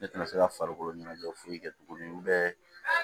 Ne tɛna se ka farikolo ɲɛnajɛ foyi kɛ tuguni